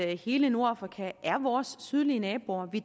at hele nordafrika er vores sydlige naboer vi